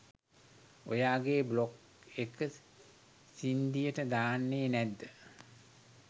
ඔයාගේ බ්ලොග් එක සින්ඩියට දාන්නේ නැද්ද?